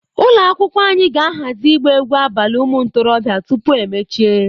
Ụlọ akwụkwọ anyị ga-ahazi ịgba egwu abalị ụmụ ntorobịa tupu emechie.